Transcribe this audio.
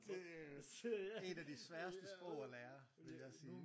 Det et af de sværeste sprog at lære vil jeg sige